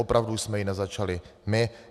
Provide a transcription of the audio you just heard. Opravdu jsme ji nezačali my.